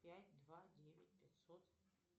пять два девять пятьсот